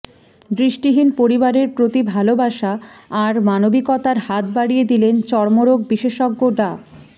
দৃষ্টিহীন পরিবারের প্রতি ভালোবাসা আর মানবিকতার হাত বাড়িয়ে দিলেন চর্মরোগ বিশেষজ্ঞ ডা